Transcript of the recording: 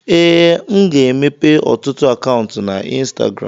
ee, m ga-emepe ọtụtụ akaụntụ na ịnstagram